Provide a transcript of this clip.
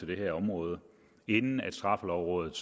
det her område inden at straffelovrådet